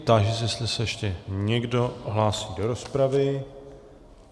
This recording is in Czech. Táži se, jestli se ještě někdo hlásí do rozpravy.